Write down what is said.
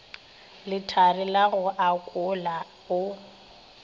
lethari la go akola o